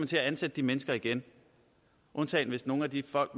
til at ansætte de mennesker igen undtagen hvis nogle af de folk